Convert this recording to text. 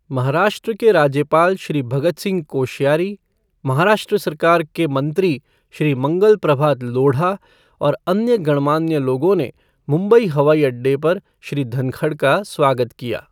महाराष्ट्र के राज्यपाल श्री भगत सिंह कोश्यारी, महाराष्ट्र सरकार के मंत्री, श्री मंगल प्रभात लोढ़ा और अन्य गणमान्य लोगों ने मुंबई हवाई अड्डे पर श्री धनखड़ का स्वागत किया।